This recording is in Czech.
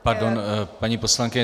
Pardon, paní poslankyně.